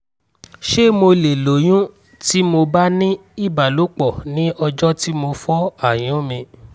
ṣé mo lè lóyún tí mo bá ní ìbálòpọ̀ ní ọjọ́ tí mo fọ́ àyún mi?